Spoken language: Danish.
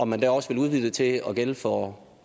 man også udvide det til at gælde for